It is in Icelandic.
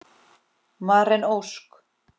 Maren Ósk.